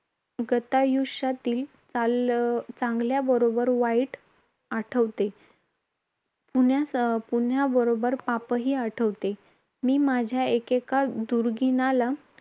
गतायुष्यातील चाल चांगल्याबरोबर वाईट आठवते, पुण्या पुण्याबरोबर पापही आठवते. मी माझ्या एकेका दुर्गुणाला